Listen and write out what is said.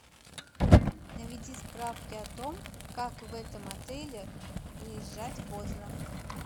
наведи справки о том как в этом отеле выезжать поздно